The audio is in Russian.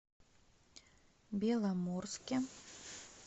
беломорске